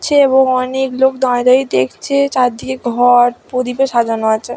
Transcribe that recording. ছে এবং অনেক লোক দাঁড়িয়ে দেখছে চারদিকে ঘর প্রদীপে সাজানো আছে।